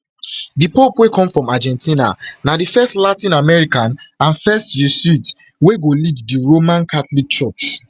di pope wey come from argentina na di first latin american and first jesuit wey go lead di roman catholic church